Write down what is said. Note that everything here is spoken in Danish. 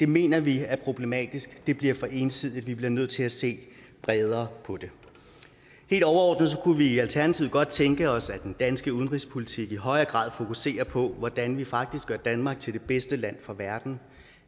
mener vi er problematisk det bliver for ensidigt vi bliver nødt til at se bredere på det helt overordnet kunne vi i alternativet godt tænke os at den danske udenrigspolitik i højere grad fokuserede på hvordan vi faktisk gør danmark til det bedste land for verden